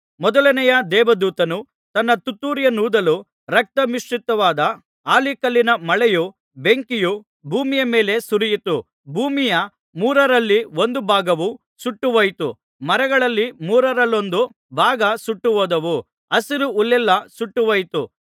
ಮೊದಲನೆಯ ದೇವದೂತನು ತನ್ನ ತುತ್ತೂರಿಯನ್ನೂದಲು ರಕ್ತ ಮಿಶ್ರಿತವಾದ ಆಲಿಕಲ್ಲಿನ ಮಳೆಯೂ ಬೆಂಕಿಯೂ ಭೂಮಿಯ ಮೇಲೆ ಸುರಿಯಿತು ಭೂಮಿಯ ಮೂರರಲ್ಲಿ ಒಂದು ಭಾಗವು ಸುಟ್ಟು ಹೋಯಿತು ಮರಗಳಲ್ಲಿ ಮೂರರಲ್ಲೊಂದು ಭಾಗ ಸುಟ್ಟು ಹೋದವು ಹಸಿರು ಹುಲ್ಲೆಲ್ಲಾ ಸುಟ್ಟು ಹೋಯಿತು